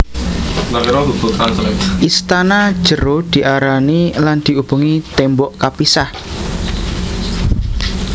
Istana jero diarani lan diubengi tembok kapisah